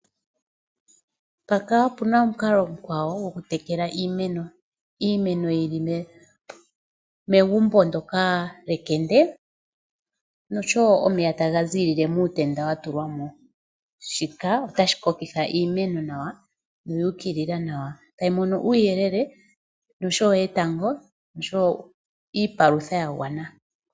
Mpaka opuna omukalo omukwawo gokutekela iimeno, iimeno yi ilile megumbo ndoka lyekende noshowo omeya taga ziilile muutenda wa tulwamo. Shika otashi kokitha iimeno nawa no yu ukilila nawa. Tayi mono uuyelele noshowo etango noshowo iipalutha ya gwana.